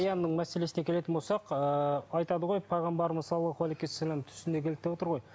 мәселесіне келетін болсақ ыыы айтады ғой пайғамбарымыз салаллаху алейхи уассалам түсіне кірді деп отыр ғой